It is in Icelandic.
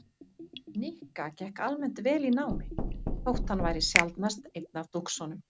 Nikka gekk almennt vel í námi þótt hann væri sjaldnast einn af dúxunum.